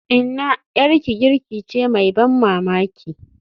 Inna, 'yarki girki ce mai ban mamaki.